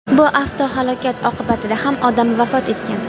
Bu avtohalokat oqibatida ham odam vafot etgan.